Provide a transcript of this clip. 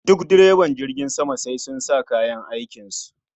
Duk direba jirgin sama sai sun sa kayan aikin su